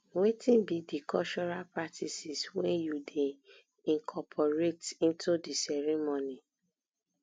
wetin be di cultural practices wey you dey incorporate into di ceremony